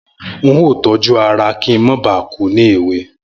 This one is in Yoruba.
N óò tójú ara kí n má ba à kú ní èwe